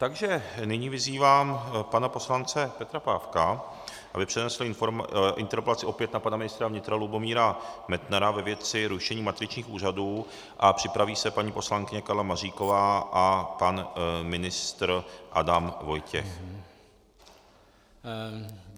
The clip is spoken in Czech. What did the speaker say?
Takže nyní vyzývám pana poslance Petra Pávka, aby přednesl interpelaci opět na pana ministra vnitra Lubomíra Metnara ve věci rušení matričních úřadů, a připraví se paní poslankyně Karla Maříková a pan ministr Adam Vojtěch.